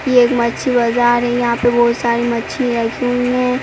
ये एक मच्छी बाज़ार है। यहाँ पे बोहोत सारी मच्छी रखी हुई हैं।